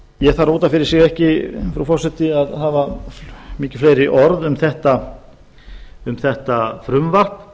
ég þarf út af fyrir sig ekki frú forseti að hafa mikið fleiri orð um þetta frumvarp